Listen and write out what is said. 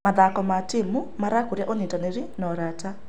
Mathako ma timu marakũria ũnyitanĩri na ũrata.